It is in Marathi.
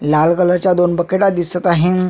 लाल कलरच्या दोन बकेटा दिसत आहे.